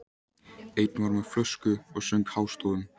Einn var með flösku og söng hástöfum.